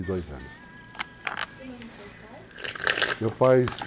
E o nome dos seus pais? Meu pai